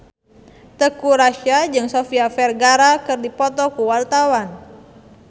Teuku Rassya jeung Sofia Vergara keur dipoto ku wartawan